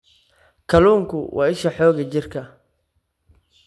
Kalluunku waa isha xoogga jirka.